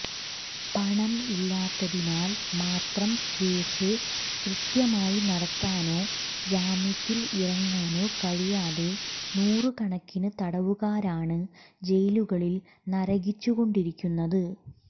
പണം ഇല്ലാത്തതിനാൽ മാത്രം കേസ് കൃത്യമായി നടത്താനോ ജാമ്യത്തിൽ ഇറങ്ങാനോ കഴിയാതെ നൂറുകണക്കിന് തടവുകാരാണ് ജയിലുകളിൽ നരകിച്ചുകൊണ്ടിരിക്കുന്നത്